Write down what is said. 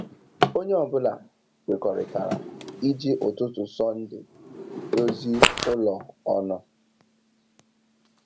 Onye ọ bụla kwekọrịtara iji ụtụtụ Sọnde dozi ụlọ ọnụ.